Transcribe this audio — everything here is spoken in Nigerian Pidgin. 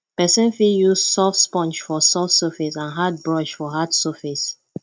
person fit use soft sponge for soft surface and hard brush for hard surface